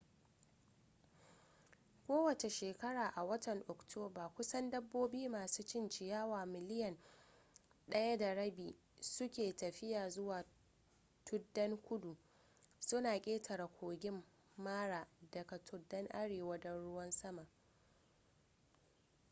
kowace shekara a watan oktoba kusan dabbobi masu cin ciyawa miliyan 1.5 suke tafiya zuwa tuddan kudu suna ƙetare kogin mara daga tuddan arewa don ruwan sama